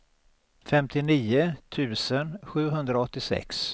femtionio tusen sjuhundraåttiosex